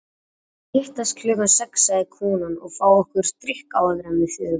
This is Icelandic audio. Við skulum hittast klukkan sex, sagði konan, og fá okkur drykk áður en við förum.